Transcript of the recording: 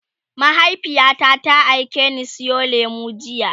mahaifiyata ta aikeni Sayo lemu jiya